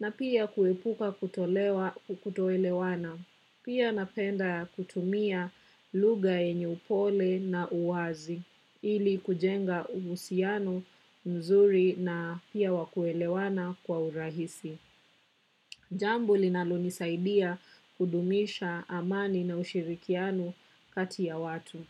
na pia kuepuka kutoelewana. Pia napenda kutumia lugha yenye upole na uwazi ili kujenga uhusiano mzuri na pia wa kuelewana kwa urahisi. Jambo linalonisaidia kudumisha amani na ushirikiano kati ya watu.